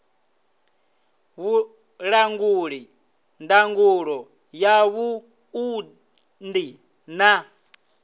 vhulanguli ndangulo ya vhuṱundi na